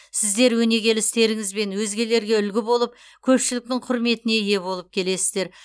сіздер өнегелі істеріңізбен өзгелерге үлгі болып көпшіліктің құрметіне ие болып келесіздер